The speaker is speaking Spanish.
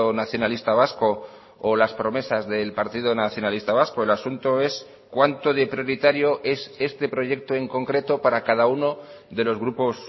nacionalista vasco o las promesas del partido nacionalista vasco el asunto es cuánto de prioritario es este proyecto en concreto para cada uno de los grupos